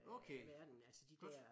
Okay godt